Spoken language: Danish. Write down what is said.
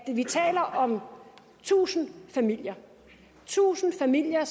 vi taler om tusind familier tusind familier